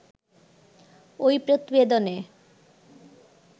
ঐ প্রতিবেদনে